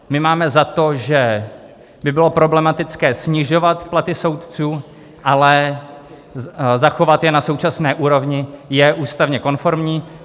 My máme za to, že by bylo problematické snižovat platy soudců, ale zachovat je na současné úrovni je ústavně konformní.